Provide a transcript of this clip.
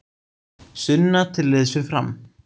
Sunna til liðs við Fram